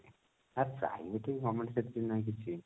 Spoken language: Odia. ଆ private କି government ସେମିତି ତ ନାହିଁ କିଛି